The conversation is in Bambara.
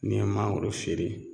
N'i ye mangoro feere